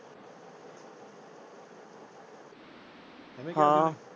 ਹਾਂ।